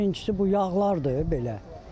Birincisi bu yağlardır belə.